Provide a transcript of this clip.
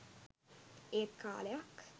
ඒත් කාලයක්